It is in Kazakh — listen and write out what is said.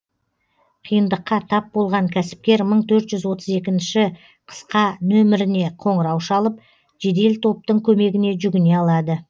қиындыққа тап болған кәсіпкер мың төрт жүз отыз екі қысқа нөміріне қоңырау шалып жедел топтың көмегіне жүгіне алады